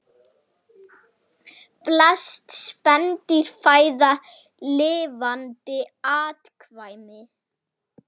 Flest spendýr fæða lifandi afkvæmi